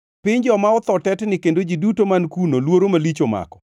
“Piny joma otho tetni, kendo ji duto man kuno luoro malich omako.